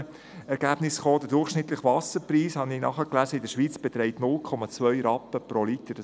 Ich habe nachgelesen, dass der durchschnittliche Wasserpreis in der Schweiz 2 Rappen pro Liter beträgt.